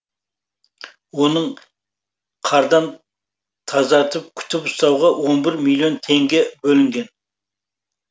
оның қардан тазартып күтіп ұстауға он бір миллион теңге бөлінген